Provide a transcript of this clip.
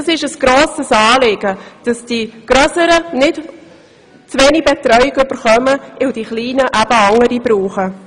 Es ist ein grosses Anliegen, dass die Grösseren nicht zu wenig Betreuung bekommen, weil die Kleinen andere Bedürfnisse haben.